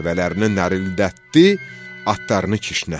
Dəvələrini nərəldətdi, atlarını kişnətdi.